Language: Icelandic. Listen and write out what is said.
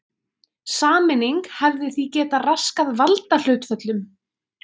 Sameining hefði því getað raskað valdahlutföllum.